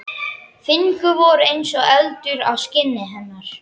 Fingur voru eins og eldur á skinni hennar.